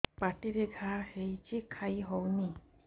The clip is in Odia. ପାଟିରେ ଘା ହେଇଛି ଖାଇ ହଉନି